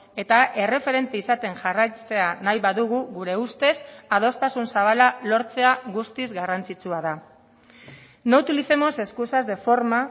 eta erreferente izaten jarraitzea nahi badugu gure ustez adostasun zabala lortzea guztiz garrantzitsua da no utilicemos excusas de forma